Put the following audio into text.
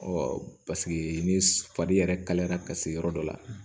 paseke ni fari yɛrɛ kalayara ka se yɔrɔ dɔ la